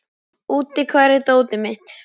Úddi, hvar er dótið mitt?